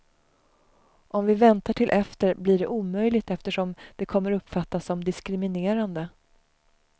Om vi väntar till efter, blir det omöjligt eftersom det kommer uppfattas som diskriminerande.